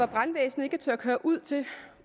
brandvæsenet ikke tør køre ud til